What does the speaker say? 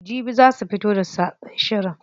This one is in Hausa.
Jibi za su fito da sabon shirin.